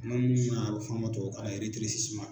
mun na a bɛ f'a ma tubabukanna